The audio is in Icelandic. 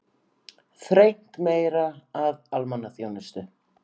Þrengt meira að almannaþjónustu